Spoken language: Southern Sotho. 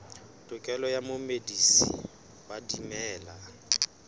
tokelo ya momedisi wa dimela